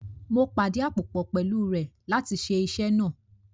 Mo pàdíàpòpọ̀ pẹ̀lú rẹ̀ láti ṣe iṣẹ́ náà